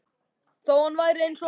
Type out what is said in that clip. Þó hann væri eins og hann var.